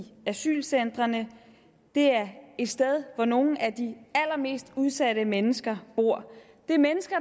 asylcentrene det er et sted hvor nogle af de allermest udsatte mennesker bor det er mennesker